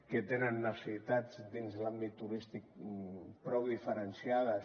que tenen necessitats dins l’àmbit turístic prou diferenciades